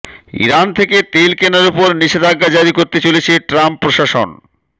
Iran থেকে তেল কেনার ওপর নিষেধাজ্ঞা জারি করতে চলেছে ট্রাম্প প্রশাসন